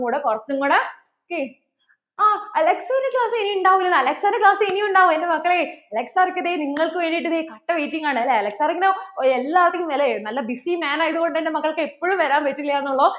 കൂടെ കുറച്ചും കൂട ok ആ AlexSir ന്‍റെ ക്ലാസ്സ് ഇനിയും ഉണ്ടാവും AlexSir ന്‍റെ class ഇനിയും ഉണ്ടാവും എൻ്റെ മക്കളെ Alex സർ ദേ ഇങ്ങനെ നിങ്ങള്‍ക്കു വേണ്ടിട്ടു ദേ കട്ട waiting ആണ് AlexSir ഇങ്ങനെ എല്ലാത്തിനും മേലെ നല്ല busyman ആയതുകൊണ്ട് എൻ്റെ മക്കള്‍ക്ക് എപ്പോഴും വരാൻ പറ്റില്ലെന്ന് ഉള്ളു